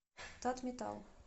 татметалл